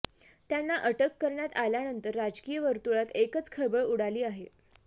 त्यांना अटक करण्यात आल्यानंतर राजकीय वर्तुळात एकच खळबळ उडाली आहे